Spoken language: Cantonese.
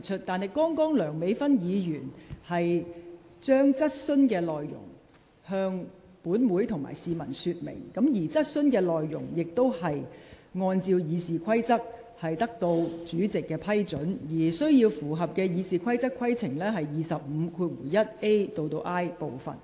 然而，剛才梁美芬議員只是向本會陳述質詢內容，而質詢內容亦已按照《議事規則》得到主席批准，符合《議事規則》第25條1款 a 至 i 段的規定。